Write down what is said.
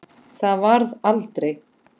Það varð aldrei!